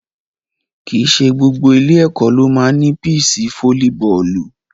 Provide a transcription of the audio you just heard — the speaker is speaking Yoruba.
Kì í ṣe gbogbo ilé-ẹ̀kọ́ ló máa ń ní píìṣì fóólíbọọ̀lù.